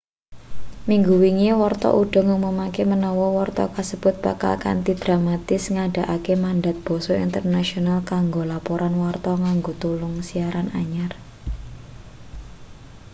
minggu wingi warta uda ngumumake menawa warta kasebut bakal kanthi dramatis ngundhakake mandat basa internasionale kanggo laporan warta nganggo telung siaran anyar